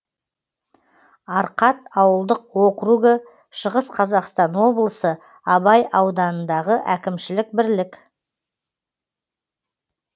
арқат ауылдық округі шығыс қазақстан облысы абай ауданындағы әкімшілік бірлік